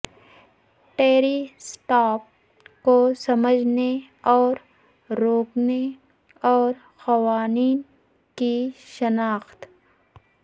Terry stop کو سمجھنے اور روکنے اور قوانین کی شناخت